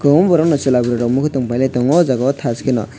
kwbangma borok no chwla burui rok muikhwtwng pailai tongo o jaga thash kheno.